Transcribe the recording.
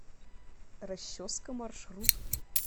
расческа маршрут